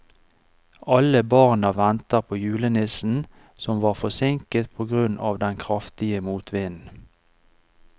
Alle barna ventet på julenissen, som var forsinket på grunn av den kraftige motvinden.